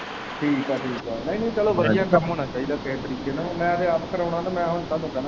ਠੀਕ ਏ ਠੀਕ ਆ ਨਈ-ਨਈ ਚੱਲੋ ਵਧੀਆ ਕੰਮ ਹੋਣਾ ਚਾਹੀਦਾ ਕੇਹੇ ਤਰੀਕੇ ਨਾਲ਼ ਮੈਂ ਤੇ ਆਪ ਕਰਾਉਣਾ ਮੈਂ ਹੁਣ ਤੁਹਾਨੂੰ ਕਵਾ।